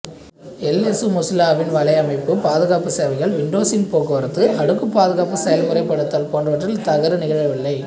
L S மொசில்லாவின் வலையமைப்புப் பாதுகாப்புச் சேவைகள் விண்டோசின் போக்குவரத்து அடுக்குப் பாதுகாப்புச் செய்முறைப்படுத்தல் போன்றவற்றில் இத்தவறு நிகழவில்லை